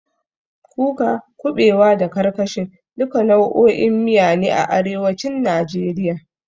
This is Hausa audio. Kuka, kuɓewa, da karkashin, duka nau'o'in miya ne a arewacin najeriya.